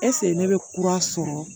ɛsike ne bɛ kura sɔrɔ